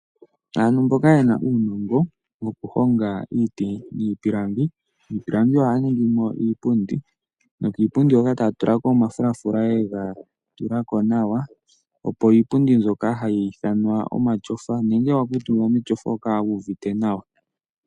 Aantu mboka ye na uunongo wokuhonga iiti niipilangi, miipilangi ohaya ningi mo iipundi nokiipundi hoka taya tula ko omafulafula ye ga tula ko nawa, opo iipundi mbyoka yi ithanwe omatyofa. Uuna wa kuutumba metyofa oho kala wu uvite nawa.